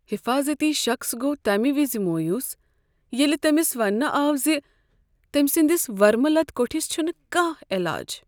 حفاضتی شخص گوٚو تمہ وز مویوٗس ییٚلہ تٔمس ونٛنہٕ آو ز تٔمۍ سٕنٛدس ورمہٕ لد کوٹِھس چھنہٕ کانٛہہ علاج۔